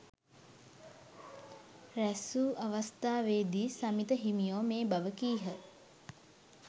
රැස්වූ අවස්ථාවේදී සමිත හිමියෝ මේ බව කීහ.